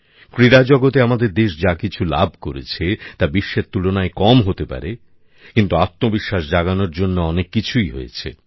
ক্রীড়া জগতে আমাদের দেশ যা কিছু লাভ করেছে তা বিশ্বের তুলনায় কম হতে পারে কিন্তু আত্মবিশ্বাস জাগানোর জন্য অনেক কিছুই হয়েছে